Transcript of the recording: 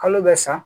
Kalo bɛ sa